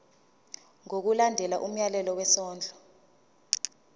ngokulandela umyalelo wesondlo